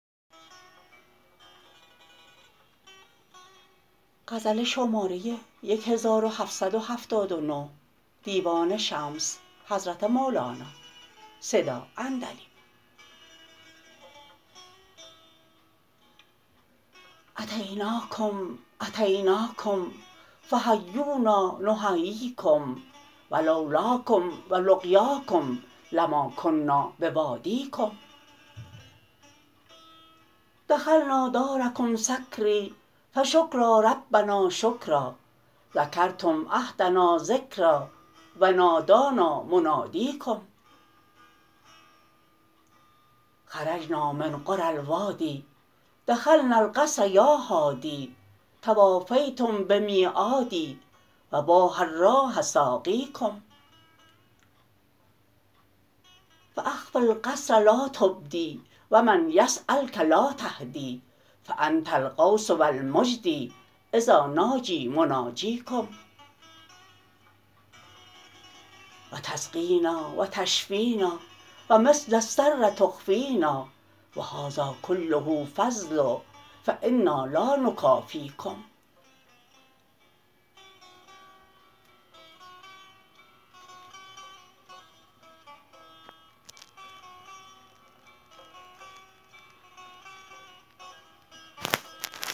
اتیناکم اتیناکم فحیونا نحییکم و لو لاکم و لقیاکم لما کنا بودایکم دخلنا دارکم سکری فشکرا ربنا شکرا ذکرتم عهدنا ذکرا و نادانا منادیکم خرجنا من قری الوادی دخلنا القصر یا حادی توافیتم بمیعادی و باح الراح ساقیکم فاخف القصر لا تبدی و من یسیلک لا تهدی فانت الغوث و المجدی اذا ناجی مناجیکم و تسقینا و تشفینا و مثل السر تخفینا و هذا کله فضل فانا لا نکافیکم